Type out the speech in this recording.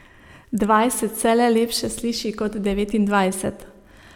Dvajset se le lepše sliši kot devetindvajset.